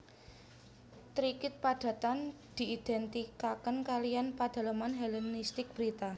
Tikrit padhatan diidentikaken kaliyan padhaleman Helenistik Birtha